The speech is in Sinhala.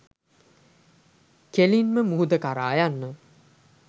කෙලින්ම මුහුද කරා යන්න.